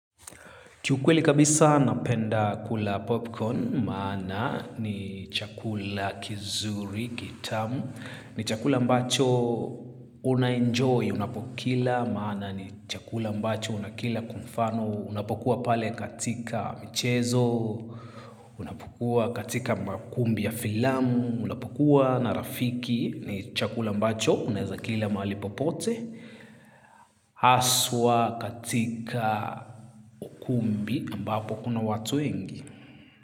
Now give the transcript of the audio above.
Kiukweli kabisa napenda kula popcorn, maana ni chakula kizuri, kitamu, ni chakula ambacho unaenjoy, unapokila, maana ni chakula mbacho unakila kwa mfano, unapokua pale katika michezo, unapokua katika makumbi ya filamu, unapokua na rafiki, ni chakula mbacho unaheza kila mahali popote. Haswa katika ukumbi ambapo kuna watu wengi.